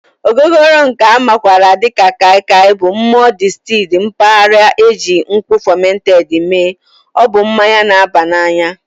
Ogogoro nke a makwaara dị ka Kai Kai Bụ mmụọ distilled mpaghara nke e ji nkwụ fermented mee, ọ bụ mmanya na-aba n'anya